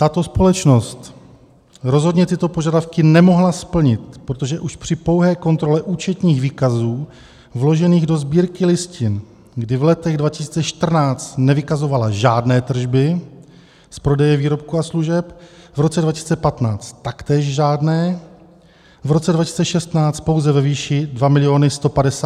Tato společnost rozhodně tyto požadavky nemohla splnit, protože už při pouhé kontrole účetních výkazů vložených do Sbírky listin, kdy v letech 2014 nevykazovala žádné tržby z prodeje výrobků a služeb, v roce 2015 taktéž žádné, v roce 2016 pouze ve výši 2 159 000 Kč, a za roky 2017 a 2018 jsem výkazy ve Sbírce listin nenašla.